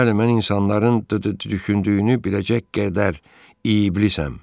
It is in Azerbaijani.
Bəli, mən insanların düşündüyünü biləcək qədər iblisəm.